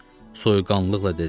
Soyuqqanlılıqla dedim.